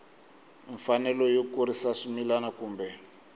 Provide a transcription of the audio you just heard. mfanelo yo kurisa swimila kumbe